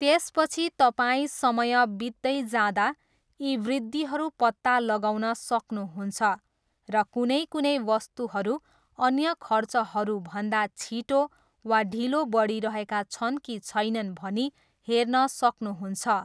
त्यसपछि तपाईँ समय बित्दै जाँदा यी वृद्धिहरू पत्ता लगाउन सक्नुहुन्छ र कुनै कुनै वस्तुहरू अन्य खर्चहरूभन्दा छिटो वा ढिलो बढिरहेका छन् कि छैनन् भनी हेर्न सक्नुहुन्छ।